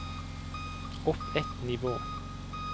opp ett nivå